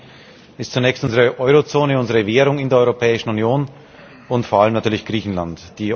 Das eine ist zunächst unsere Eurozone, unsere Währung in der Europäischen Union, und vor allem natürlich Griechenland.